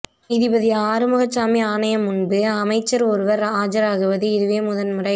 நீதிபதி ஆறுமுகசாமி ஆணையம் முன்பு அமைச்சர் ஒருவர் ஆஜராகுவது இதுவே முதன்முறை